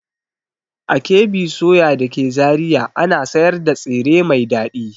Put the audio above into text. A KB soya da ke Zariya ana sayar da tsire mai dadi.